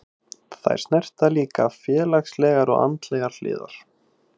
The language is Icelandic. Þær snerta líka félagslegar og andlegar hliðar.